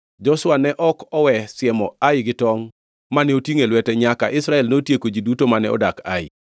Joshua ne ok owe siemo Ai gi tongʼ mane otingʼo e lwete nyaka Israel notieko ji duto mane odak Ai.